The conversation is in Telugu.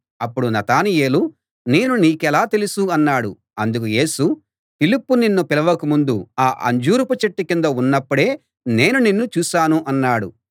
అప్పుడు నతనయేలు నేను నీకెలా తెలుసు అన్నాడు అందుకు యేసు ఫిలిప్పు నిన్ను పిలవక ముందు ఆ అంజూరపు చెట్టు కింద ఉన్నప్పుడే నేను నిన్ను చూశాను అన్నాడు